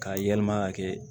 K'a yɛlɛma ka kɛ